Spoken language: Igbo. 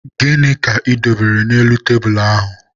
Gịnị ka ị dobere n'elu tebulu ahụ?